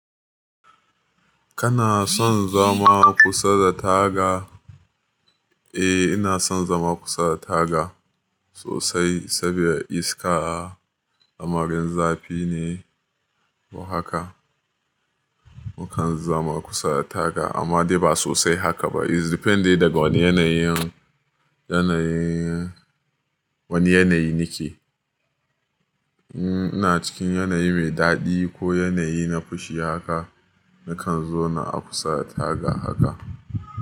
Kana son zama kusa da taga? Eh ina son zama kusa da taga sosai saboda iska, lamarin zafi ne, to haka nakan zama kusa da taga amma dai ba sosai haka ba. It's depending daga wane yanayi, yanayi, wane yanayi nake. In ina cikin yanayi mai daɗi ko yanayi na fushi haka nakan zo na kusa da taga haka.